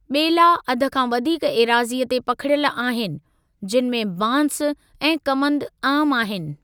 ॿेला अध खां वधीक एराज़ीअ ते पखिड़ियल आहिनि, जिनि में बांसु ऐं कमंदु आमु आहिनि।